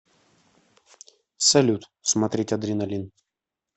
салют смотреть адреналин